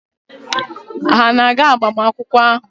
Ha na-aga agbamakwụkwọ ahụ?